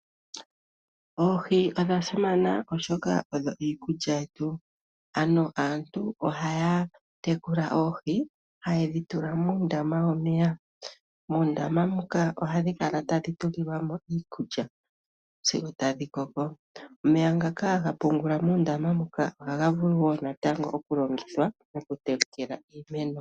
Oohi odhasimana oshoka odho iikulya yetu . Aantu ohaya tekula oohi hayedhi tula muundama womeya.. muundama muka ohadhi kala tadhi tulilwamo iikulya sigo tadhi koko . Omeya ngaka haga pungulwa muundama muka ohaga vulu oku woo natango okulongithwa moku tekela iimeno.